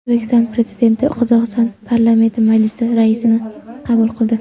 O‘zbekiston Prezidenti Qozog‘iston Parlamenti Majlisi raisini qabul qildi.